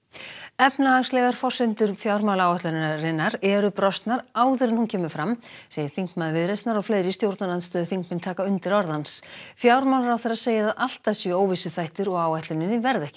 efnahagslegar forsendur fjármálaáætlunarinnar eru brostnar áður en hún kemur fram segir þingmaður Viðreisnar og fleiri stjórnarandstöðuþingmenn taka undir orð hans fjármálaráðherra segir að alltaf séu óvissuþættir og áætluninni verði ekki